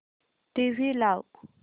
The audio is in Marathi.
टीव्ही लाव